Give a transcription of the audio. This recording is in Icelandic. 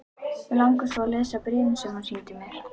Mig langar svo að lesa bréfin sem þú sýndir mér.